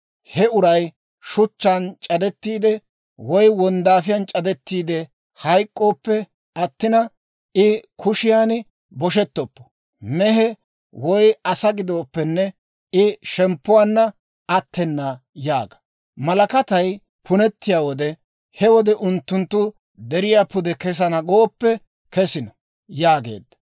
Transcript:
He uray shuchchaan c'adettiide woy wonddaafiyaan c'adettiide hayk'k'ooppe attin; I kushiyaan boshettoppo. Mehe, woy asaa gidooppenne I shemppuwaanna attena› yaaga. Malakatay punettiyaa wode, he wode unttunttu deriyaa pude kesana gooppe kesino» yaageedda.